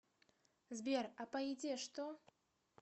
сбер а по еде что